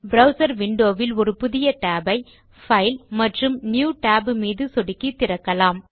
browser window வில் ஒரு புதிய tab ஐ பைல் மற்றும் நியூ Tab மீது சொடுக்கி திறக்கலாம்